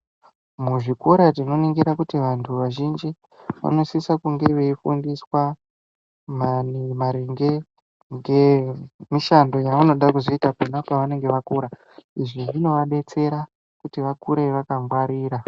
Muzvikora tinoningira kuti vantu vazhinji vanosisa kunge veyifundiswa maringe ngemishando yavanoda kuzoita pona pavanenge vakura izvi zvinodetsera kuti vakure vakangwarira.